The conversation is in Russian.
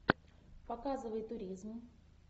показывай туризм